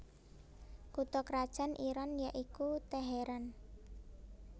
Kutha krajan Iran ya iku Teheran